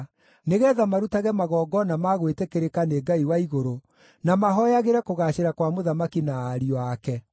nĩgeetha marutage magongona ma gwĩtĩkĩrĩka nĩ Ngai wa igũrũ, na mahooyagĩre kũgaacĩra kwa mũthamaki na ariũ ake.